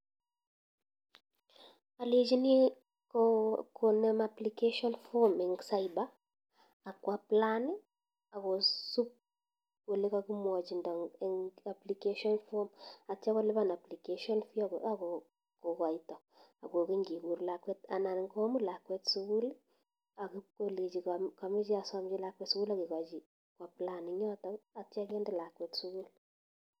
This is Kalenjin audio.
Alechinii koonem application fom eng cyber akwaapply akosubu ole kakimwachinda eng applicatin fom atya kolipan atya kolipan application fee akokaita akokeny kee kur lakwet sukul anan komut lakwet sukul akpikolechii kameche asamchii lakwet sukul akekachii koapplayan ingyotok atya kende lakwet kwa sukul